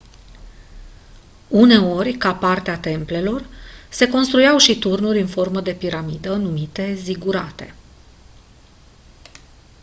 uneori ca parte a templelor se construiau și turnuri în formă de piramidă numite zigurate